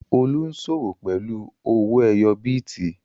Olú ń sọ́wọ́ pẹ̀lú owó ẹyọ bìtì